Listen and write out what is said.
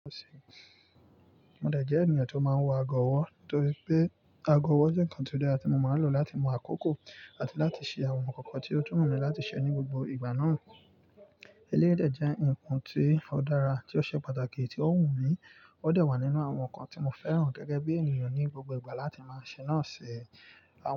Mo dẹ̀ jẹ́ ènìyàn tó máa ń wọ ago ọwọ́, torí pé ago ọwọ́ jẹ́ nǹkan tó dára tí mo máa ń lò láti mú àkókò àti láti ṣe àwọn nǹkan kan tí ó tún wu mí láti ṣe ní gbogbo ìgbà náà. Eléyii dẹ̀ jẹ́ nǹkan tí ó dára tí ó ṣe pàtàkì tí ó wù mí, ó dẹ̀ wà nínú àwọn nǹkan tí mo fẹ́ràn gẹ́gẹ́ bí ènìyàn ní gbogbo ìgbà láti máa ṣe náà ṣe. Awọ́n.